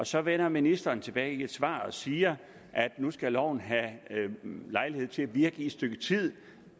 så vender ministeren tilbage med et svar og siger at nu skal loven have lejlighed til at virke i et stykke tid